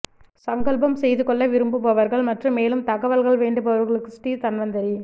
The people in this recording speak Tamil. சங்கல்பம் செய்து கொள்ள விரும்புபவர்கள் மற்றும் மேலும் தகவல் வேண்டுபவர்களுக்கு ஸ்ரீ தன்வந்திரி